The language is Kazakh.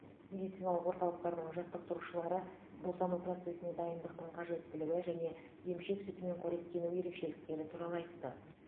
медициналық орталықтардың жаттықтырушылары босану процесіне дайындықтың қажеттілігі және емшек сүтімен қоректену ерекшеліктері туралы айтты